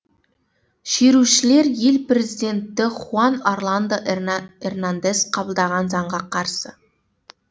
шерушілер ел президенті хуан орландо эрнандес қабылдаған заңға қарсы